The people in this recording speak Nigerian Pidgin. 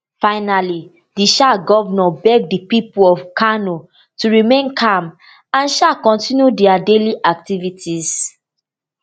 finally di um govnor beg di pipo of kano to remain calm and um continue dia daily activities